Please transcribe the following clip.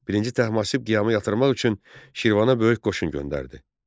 I Təhmasib qiyamı yatırmaq üçün Şirvana böyük qoşun göndərdi.